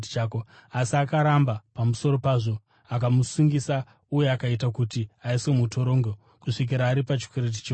“Asi akaramba. Pamusoro pezvo akamusungisa uye akaita kuti aiswe mutorongo kusvikira aripa chikwereti chose.